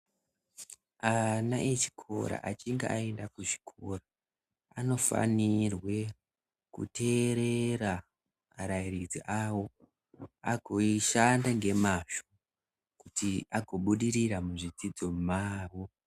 Ana echikora achinge aenda kuzvikora anofanirwe kuteerera arairidzi awo agoishanda ngemazvo kuti agobudirira muzvidzidzo zvavo.